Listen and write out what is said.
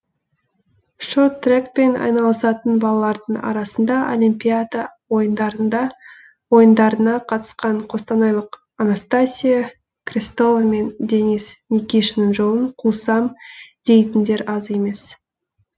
шорт трекпен айналысатын балалардың арасында олимпиада ойындарына қатысқан қостанайлық анастасия крестова мен денис никишаның жолын қусам дейтіндер аз емес